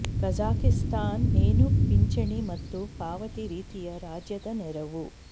Kazakhstan ಏನು ಪಿಂಚಣಿ ಮತ್ತು ಪಾವತಿ ರೀತಿಯ ರಾಜ್ಯದ ನೆರವು